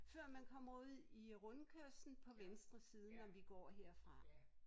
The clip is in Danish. Før man kommer ud i rundkørslen på venstre side når vi går herfra